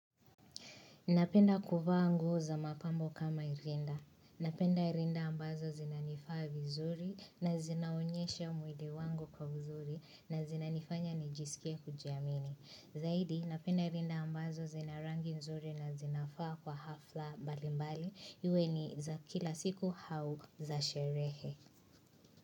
Napenda kuvaa nguo za mapambo kama hii rinda. Napenda rinda ambazo zinanifaa vizuri na zinaonyesha mwili wangu kwa uzuri na zinanifanya nijisikie kujiamini. Zaidi, napenda rinda ambazo zina rangi nzuri na zinafaa kwa hafla mbalimbali. Iwe ni za kila siku au za sherehe.